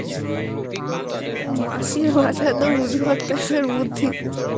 মাসির মাথায় তো উদঘট ভর্তি